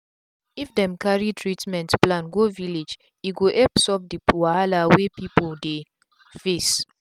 if dem cari treatment plan go village e go epp solve d wahala wey pipu dey face